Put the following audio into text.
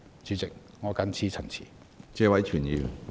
主席，我謹此陳辭。